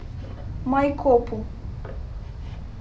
майкопу